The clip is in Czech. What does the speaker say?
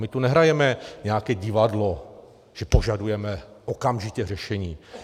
My tu nehrajeme nějaké divadlo, že požadujeme okamžitě řešení.